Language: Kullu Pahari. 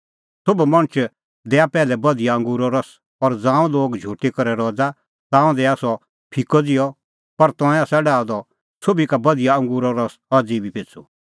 सोभ मणछ दैआ पैहलै बधिया अंगूरो रस और ज़ांऊं लोग झुटी करै रज़ा ताऊं दैआ सह फिकअ ज़िहअ पर तंऐं आसा डाहअ द सोभी का बधिया अंगूरो रस अज़ी बी पिछ़ू